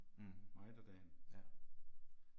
Mh. Ja